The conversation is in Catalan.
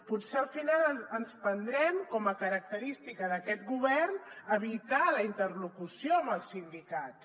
potser al final ens prendrem com a característica d’aquest govern evitar la interlocució amb els sindicats